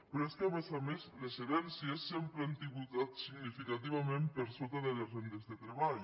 però és que a més a més les herències sempre han tributat significativament per sota de les rendes de treball